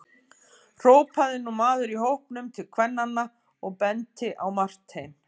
hrópaði nú maður í hópnum til kvennanna og benti á Martein.